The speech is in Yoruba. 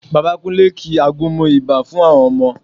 Bàbá Kúnlé ki àgúnmu ibà fún àwọn ọmọ